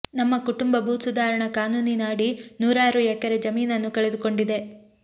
ನಮ್ಮ ಕುಟುಂಬ ಭೂಸುಧಾರಣಾ ಕಾನೂನಿನ ಅಡಿ ನೂರಾರು ಎಕರೆ ಜಮೀನನ್ನು ಕಳೆದುಕೊಂಡಿದೆ